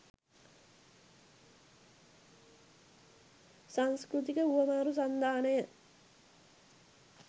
සංස්කෘතික හුවමාරු සන්ධානය,